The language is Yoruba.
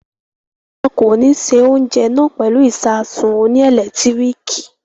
Won ko ní ṣe oúnjẹ náà pẹ̀lú ìsasùn oní ẹ̀lẹ́tíríkì